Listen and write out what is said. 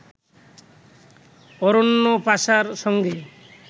অরণ্য পাশার সঙ্গে